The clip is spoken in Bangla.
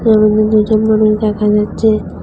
ছবিতে দুজন মানুষ দেখা যাচ্চে।